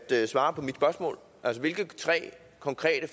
til at svare på mit spørgsmål hvilke tre konkrete